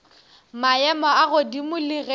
maemo a godimo le ge